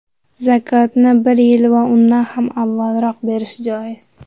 Zakotni bir yil va undan ham avvalroq berish joiz.